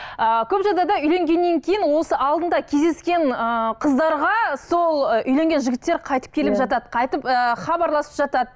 ыыы көп жағдайда үйленгеннен кейін осы алдында кездескен ыыы қыздарға сол ы үйленген жігіттер қайтып келіп жатады қайтып ыыы хабарласып жатады